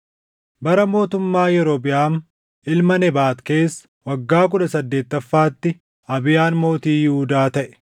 Bara mootummaa Yerobiʼaam ilma Nebaat keessa, waggaa kudha saddeettaffaatti Abiyaan mootii Yihuudaa taʼe;